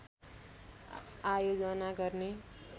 आयोजना गर्ने